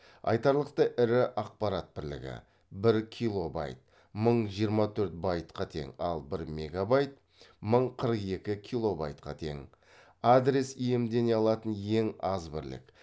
айтарлықтай ірі ақпарат бірлігі бір килобайт мың жиырма төрт байтқа тең ал бір мегабайт мың қырық екі килобайтқа тең адрес иемдене алатын ең аз бірлік